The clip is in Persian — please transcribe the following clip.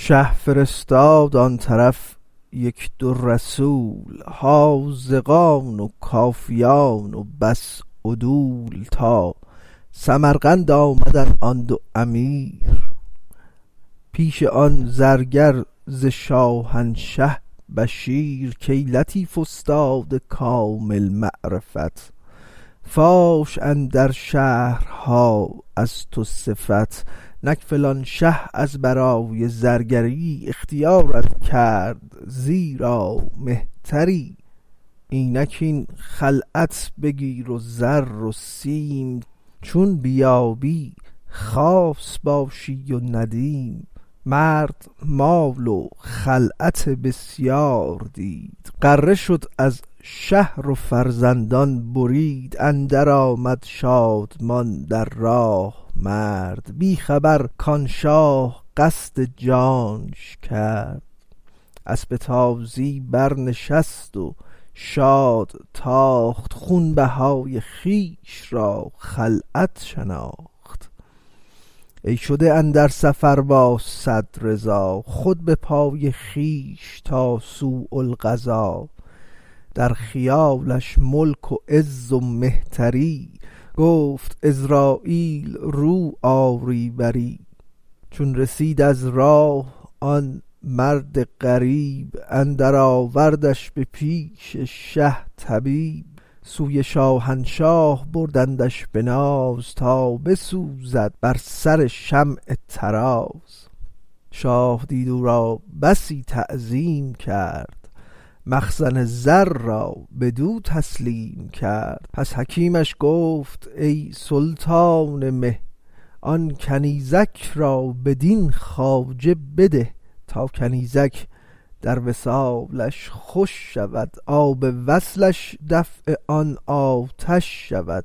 شه فرستاد آن طرف یک دو رسول حاذقان و کافیان بس عدول تا سمرقند آمدند آن دو امیر پیش آن زرگر ز شاهنشه بشیر کای لطیف استاد کامل معرفت فاش اندر شهرها از تو صفت نک فلان شه از برای زرگری اختیارت کرد زیرا مهتری اینک این خلعت بگیر و زر و سیم چون بیایی خاص باشی و ندیم مرد مال و خلعت بسیار دید غره شد از شهر و فرزندان برید اندر آمد شادمان در راه مرد بی خبر کان شاه قصد جانش کرد اسپ تازی برنشست و شاد تاخت خونبهای خویش را خلعت شناخت ای شده اندر سفر با صد رضا خود به پای خویش تا سوء القضا در خیالش ملک و عز و مهتری گفت عزراییل رو آری بری چون رسید از راه آن مرد غریب اندر آوردش به پیش شه طبیب سوی شاهنشاه بردندش به ناز تا بسوزد بر سر شمع طراز شاه دید او را بسی تعظیم کرد مخزن زر را بدو تسلیم کرد پس حکیمش گفت کای سلطان مه آن کنیزک را بدین خواجه بده تا کنیزک در وصالش خوش شود آب وصلش دفع آن آتش شود